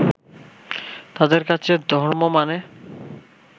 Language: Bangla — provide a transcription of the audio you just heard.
তাঁদের কাছে ধর্ম মানে